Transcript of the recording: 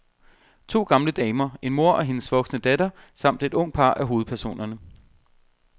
To gamle damer, en mor og hendes voksne datter, samt et ungt par er hovedpersonerne.